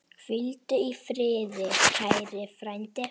Hvíldu í friði, kæri frændi.